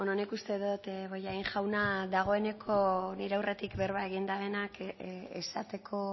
nik uste dut bollain jauna dagoeneko nire aurretik berba egin dabenak esateko